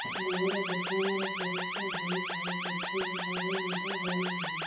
ମୋର ବିଛଣାରେ ପରିସ୍ରା ହେଇଯାଉଛି ଠିକ ଭାବେ ନିଦ ହଉ ନାହିଁ